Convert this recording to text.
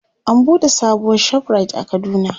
an buɗe sabuwar ShopRite a kaduna